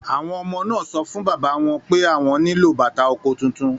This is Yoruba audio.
Àwọn ọmọ náà sọ fún bàbá wọn pé àwọn nílò bàtà oko tuntun